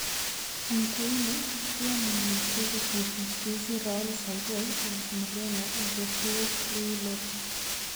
Antoine, iamune kokosir Mswizi Raoul Savoy al Mreno Jose Rui lopes